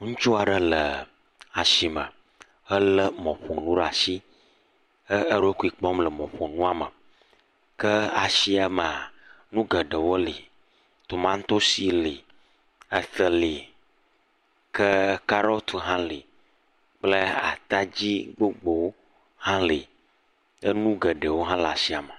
Ŋutsu aɖe le ashime helé mɔƒonu ɖaa shi he eɖokui kpɔm le mɔƒonua me. Ke ashia mea, nu geɖewo li. Tomatosi li, ete li, ke karɔti hã li kple atadzi gbogbo hã li. Enu geɖewo hã le ashia me.